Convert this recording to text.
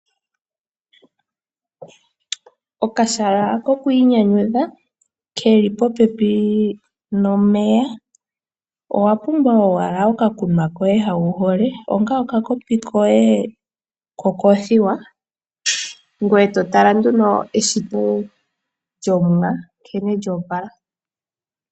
Okahala koku inyanyudha ke li popepi nomeya. Owa pumbwa owala okakunwa koye hoka wu hole, okakopi koye kokoothiwa, ngoye to tala nduno eshito lyOmuwa nkene lyo opala.